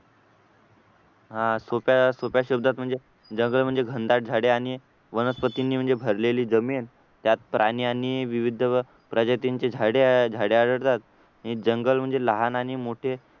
हा सोप्या सोप्या शब्दात म्हणजे जंगल म्हणजे घनदाट झाडी आणि वनस्पतींनी म्हणजे भरलेली जमीन त्यात प्राणी आणि विविध प्रजातींची झाडे झाडे आढळतात आणि जंगल म्हणजे लहान आणि मोठे